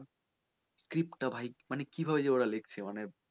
script টা ভাই মানে কীভাবে যে ওরা লেখছে,